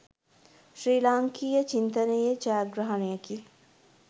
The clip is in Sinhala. ශ්‍රී ලාංකීය චින්තනයේ ජයග්‍රහණයකි